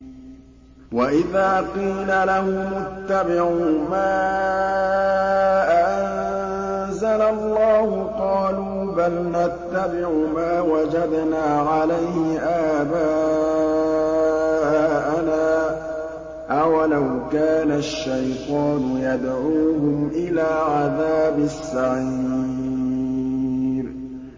وَإِذَا قِيلَ لَهُمُ اتَّبِعُوا مَا أَنزَلَ اللَّهُ قَالُوا بَلْ نَتَّبِعُ مَا وَجَدْنَا عَلَيْهِ آبَاءَنَا ۚ أَوَلَوْ كَانَ الشَّيْطَانُ يَدْعُوهُمْ إِلَىٰ عَذَابِ السَّعِيرِ